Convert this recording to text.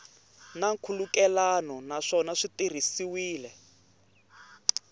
na nkhulukelano naswona swi tirhisiwile